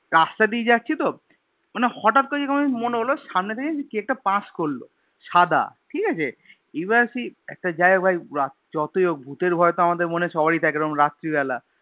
রাস্তা দিয়ে যাচ্ছি তো মানে হটাৎ করে যেরকম আমার মনে হল সামনে থেকে কি একটা Pass করলো সাদা ঠিকাছে এবার সেই একটা জায়গা ভাই যতই হোক ভূতের ভয় তো আমাদের মনে সবারই থাকে এরম রাত্রি বেলা